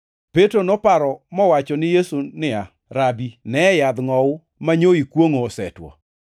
Petro noparo mowachoni Yesu niya, “Rabi! Ne yadh ngʼowu manyo ikwongʼo osetwo!”